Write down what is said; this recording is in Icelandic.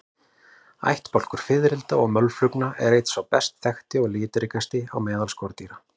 Ættbálkur fiðrilda og mölflugna er einn sá best þekkti og litríkasti meðal skordýra.